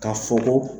Ka fɔ ko